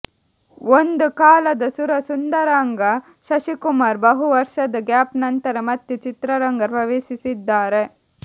ಒಂದು ಕಾಲದ ಸುರಸುಂದರಾಂಗ ಶಶಿಕುಮಾರ್ ಬಹು ವರ್ಷದ ಗ್ಯಾಪ್ ನಂತರ ಮತ್ತೆ ಚಿತ್ರರಂಗ ಪ್ರವೇಶಿಸಿದ್ದಾರೆ